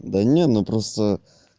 да не ну просто